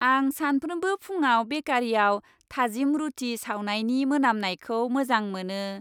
आं सानफ्रोमबो फुंआव बेकारियाव थाजिम रुथि सावनायनि मोनामनायखौ मोजां मोनो।